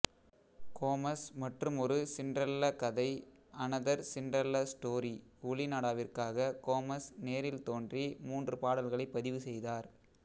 Gomez மற்றுமொரு Cinderella கதை another Cinderella story ஒலிநாடாவிற்காக கோமஸ் நேரில் தோன்றி மூன்று பாடல்களை பதிவு செய்தார்